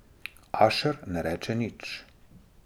Ašer ne reče nič.